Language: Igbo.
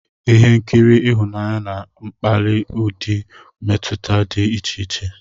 Ihe nkiri ịhụnanya na-akpáli ụdị mmetụta dị iche iche.